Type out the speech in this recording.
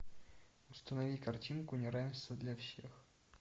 установи картинку неравенство для всех